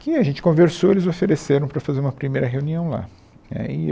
que a gente conversou e eles ofereceram para fazer uma primeira reunião lá. Aí eu